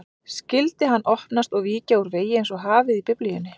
Skyldi hann opnast og víkja úr vegi einsog hafið í Biblíunni?